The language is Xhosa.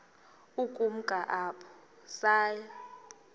ukumka apho saya